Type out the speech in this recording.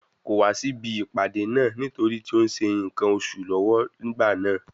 Kò wá sí ibi ìpàdé náà nítorí tí ó ń ṣe nǹkan oṣù lọ́wọ́ nígbà náà.